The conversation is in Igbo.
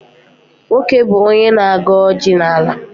Nwoke bụ onye na-agọ ọjị n'ala Igbo.